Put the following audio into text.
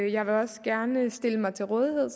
jeg vil også gerne stille mig til rådighed